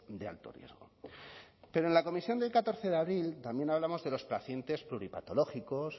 de alto riesgo pero en la comisión del catorce de abril también hablamos de los pacientes pluripatológicos